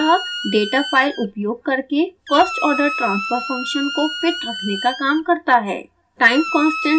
यह कोड मूलतः data file उपयोग करके first order transfer function को फिट रखने का काम करता है